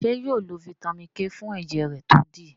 ṣe yóò lo Vitamin k fún ẹjẹ rẹ to dí?